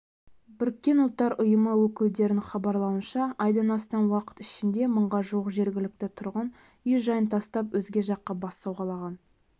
біріккен ұлттар ұйымы өкілдерінің хабарлауынша айдан астам уақыт ішінде мыңға жуық жергілікті тұрғын үй-жайын тастап өзге жаққа бас сауғалаған